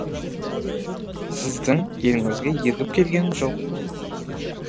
сіздің еліңізге ерігіп келгенім жоқ